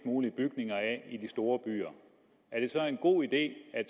mulig bygninger af i de store byer er det så en god idé at